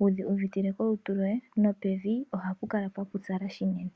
wudhi uvitile kolutu lwoye nopevi ohapu kala pwapupyala unene.